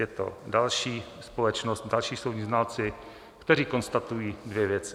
Je to další společnost, další soudní znalci, kteří konstatují dvě věci.